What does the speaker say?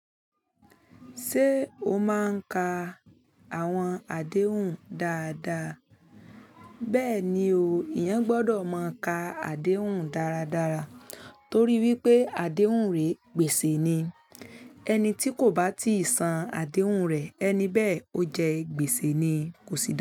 Ṣé o máa ń ka àwọn àdéhùn dáadáa? Bẹ́ẹ̀ni o, ìyẹn gbọ́dọ̀ máa ka àdéhùn dáradára torí wípé àdéhùn rè gbèsè ni. Ẹni tí kò bá tíì san àdéhùn rè, ẹni bẹ́ẹ̀ ó jẹ́ gbèsè ni kò sì dá.